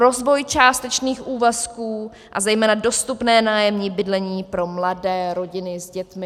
Rozvoj částečných úvazků a zejména dostupné nájemní bydlení pro mladé rodiny s dětmi.